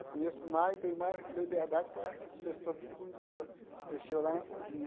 Eu conheço mais, tenho mais liberdade com as pessoas que cozinham, mexeu lá na cozinha.